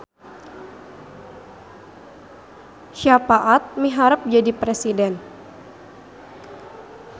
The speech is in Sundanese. Syapaat miharep jadi presiden